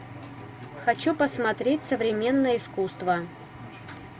хочу посмотреть современное искусство